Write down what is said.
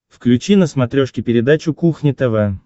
включи на смотрешке передачу кухня тв